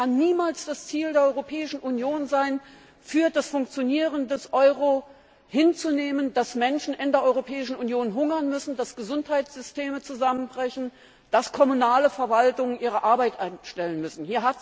Es kann niemals das Ziel der Europäischen Union sein, für das Funktionieren des Euro hinzunehmen, dass Menschen in der Europäischen Union hungern müssen, dass Gesundheitssysteme zusammenbrechen, dass kommunale Verwaltungen ihre Arbeit einstellen müssen.